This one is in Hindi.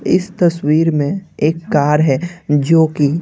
इस तस्वीर में एक कार है जो कि--